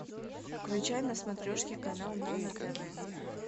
включай на смотрешке канал нано тв